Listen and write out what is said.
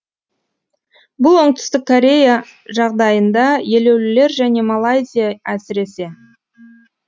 бұл оңтүстік корея жағдайында елеулілер және малайзия әсіресе